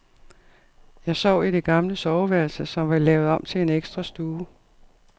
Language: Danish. Jeg sov i det gamle soveværelse, som var lavet om til en ekstra stue.